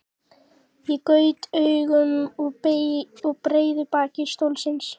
Ég gaut augum að breiðu baki stólsins.